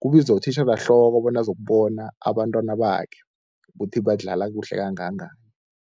kubizwa utitjherehloko bona azokubona abantwana bakhe kuthi badlala kuhle kangangani.